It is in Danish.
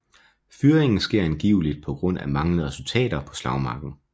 Fyringen sker angiveligt på grund af manglende resultater på slagmarken